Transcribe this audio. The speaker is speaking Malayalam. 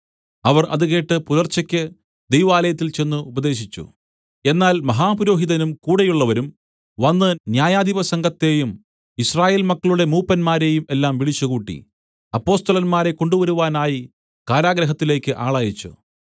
അവർ അത് കേട്ട് പുലർച്ചയ്ക്ക് ദൈവാലയത്തിൽ ചെന്ന് ഉപദേശിച്ചു എന്നാൽ മഹാപുരോഹിതനും കൂടെയുള്ളവരും വന്ന് ന്യായാധിപസംഘത്തെയും യിസ്രായേൽ മക്കളുടെ മൂപ്പന്മാരെയും എല്ലാം വിളിച്ചുകൂട്ടി അപ്പൊസ്തലന്മാരെ കൊണ്ടുവരുവാനായി കാരാഗൃഹത്തിലേക്ക് ആളയച്ച്